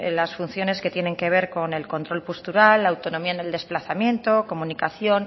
las funciones que tienen que ver con el control postural la autonomía en el desplazamiento comunicación